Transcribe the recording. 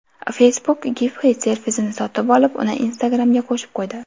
Facebook Giphy servisini sotib olib, uni Instagram’ga qo‘shib qo‘ydi.